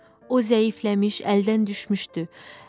O zəifləmiş, əldən düşmüşdü.